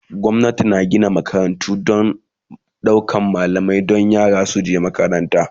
gwamnati na Kara Gina makarantu da daukan malamai Dan yara duka su je makaranta